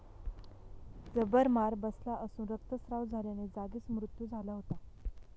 जबर मार बसला असून, रक्तस्राव झाल्याने जागीच मृत्यू झाला होता.